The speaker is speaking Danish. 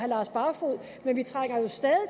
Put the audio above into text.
lars barfoed men vi trænger jo stadig